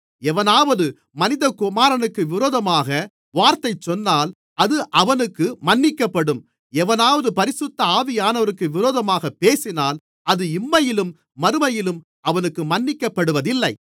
எவனாவது மனிதகுமாரனுக்கு விரோதமாக வார்த்தை சொன்னால் அது அவனுக்கு மன்னிக்கப்படும் எவனாவது பரிசுத்த ஆவியானவருக்கு விரோதமாகப் பேசினால் அது இம்மையிலும் மறுமையிலும் அவனுக்கு மன்னிக்கப்படுவதில்லை